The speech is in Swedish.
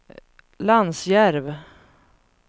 Lansjärv